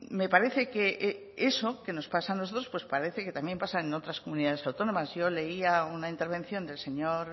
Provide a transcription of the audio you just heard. me parece que eso que nos pasa a nosotros pues parece que también pasa en otras comunidades autónomas yo leía una intervención del señor